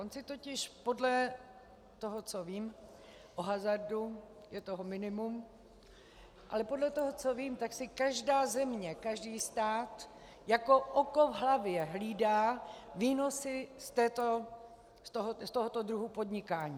On si totiž podle toho, co vím o hazardu, je toho minimum, ale podle toho, co vím, tak si každá země, každý stát, jako oko v hlavě hlídá výnosy z tohoto druhu podnikání.